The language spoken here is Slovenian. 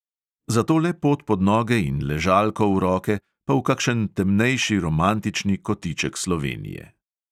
Zato le pot pod noge in ležalko v roke pa v kakšen temnejši romantični kotiček slovenije!